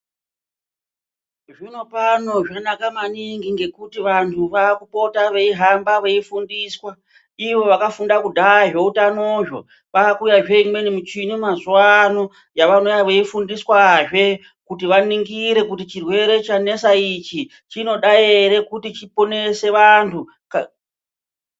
Zvinopano zvanaka maningi ngekuti vantu vakupota veihamba veifundiswa ivo vakafunda kudhaya zveutanozvo. Kwakuuyazve imwe michini yavanouya veifundiswazve kuti vaningire kuti chirwere chanesa ichi chinoda ere kuti chiponese vantu ka.